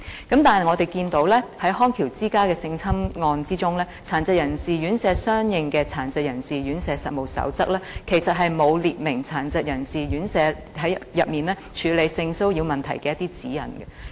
然而，我們看到在康橋之家的性侵案之中，與殘疾人士院舍營辦有關的《殘疾人士院舍實務守則》其實沒有訂明院舍處理性騷擾問題的指引。